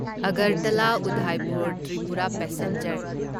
Agartala Udaipur Tripura passenger